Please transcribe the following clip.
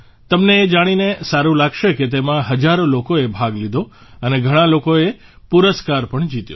તમને એ જાણીને સારું લાગશે કે તેમાં હજારો લોકોએ ભાગ લીધો અને ઘણા લોકોએ પુરસ્કાર પણ જીત્યો